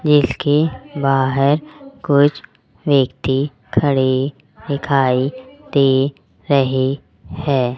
जिसके बाहर कुछ व्यक्ति खड़े दिखाई दे रहे हैं।